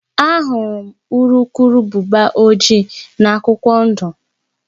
Ahụrụ m urukurubụba ojii na akwụkwọ ndụ akwụkwọ ndụ